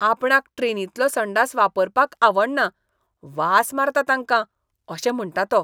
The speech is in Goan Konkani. आपणाक ट्रेनींतलो संडास वापरपाक आवडना, "वास मारता तांकां" अशें म्हणटा तो.